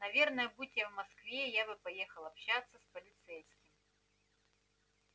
наверное будь я в москве я бы поехал общаться с полицейским